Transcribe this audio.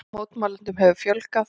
Mótmælendum hefur fjölgað